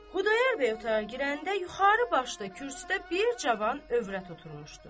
Xudayar bəy otağa girəndə yuxarı başda kürsüdə bir cavan övrət oturmuşdu.